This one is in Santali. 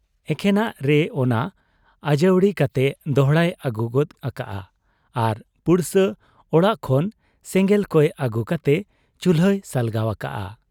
ᱮᱠᱷᱮᱱᱟᱜ ᱨᱮ ᱚᱱᱟ ᱟᱹᱡᱟᱹᱣᱲᱤ ᱠᱟᱛᱮ ᱫᱚᱦᱲᱟᱭ ᱟᱹᱜᱩ ᱜᱚᱫ ᱟᱠᱟᱜ ᱟ, ᱟᱨ ᱯᱩᱲᱥᱟᱹ ᱚᱲᱟᱜ ᱠᱷᱚᱱ ᱥᱮᱸᱜᱮᱞ ᱠᱚᱭ ᱟᱹᱜᱩ ᱠᱟᱛᱮ ᱪᱩᱞᱦᱟᱹᱭ ᱥᱟᱞᱜᱟᱣ ᱟᱠᱟᱜ ᱟ ᱾